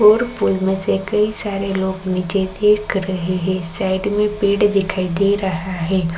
और पुल में से कई सारे लोग नीचे देक रहें हैं साइड में पेड़ दिखाई दे रहा है।